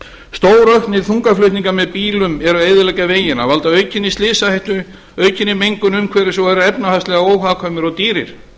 stórauknir þungaflutningar með bílum eru að eyðileggja vegina valda aukinni slysahættu aukinni mengun umhverfis og eru efnahagslega óhagkvæmir og dýrir